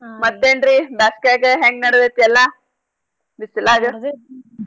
ಮತ್ತೇನ್ ರೀ ಬ್ಯಾಸ್ಗ್ಯಾಗೆ ಹೆಂಗ್ ನಡೆದೈತ್ ಎಲ್ಲಾ? .